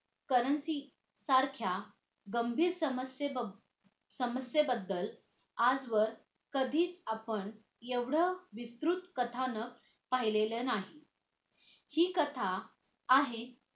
currency सारख्या गंभीर समस्ये समस्ये बद्दल आजवर कधीच आपण एवढं विस्तृत कथानक पाहिलेलं नाही हि कथा आहे